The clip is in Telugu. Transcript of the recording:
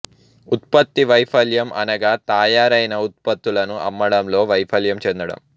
ఉత్పత్తి వైఫల్యం అనగా తయారైన ఉత్పత్తులను అమ్మడంలో వైఫల్యం చెందడం